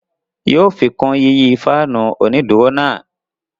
Yóò fikun yiyi faanu oniduro náà